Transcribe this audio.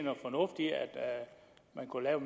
man kunne lave